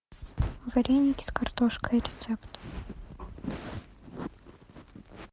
вареники с картошкой рецепт